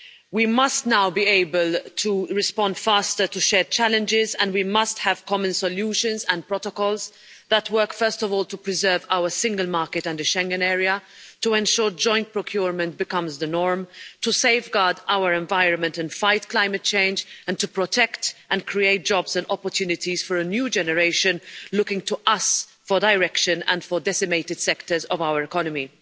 We must now be able to respond faster to shared challenges and we must have common solutions and protocols that work first of all to preserve our single market under the Schengen area, to ensure joint procurement becomes the norm, to safeguard our environment and fight climate change, and to protect and create jobs and opportunities for a new generation looking to us for direction, and to repair decimated sectors of our economy.